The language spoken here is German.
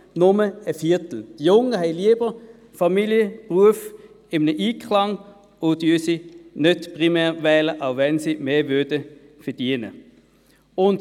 Die Jungen bringen lieber Familie und Beruf in Einklang und wählen sie nicht primär, auch wenn sie mehr verdienen würden.